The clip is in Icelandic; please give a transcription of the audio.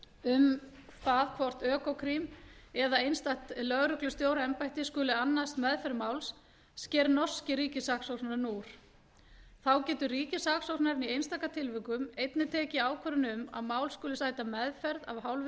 um hvort økokrim eða einstakt lögreglustjóraembætti skuli annast meðferð máls sker norski ríkissaksóknarinn úr þá getur ríkissaksóknarinn í einstaka tilvikum einnig tekið ákvörðun um að mál skuli sæta meðferð af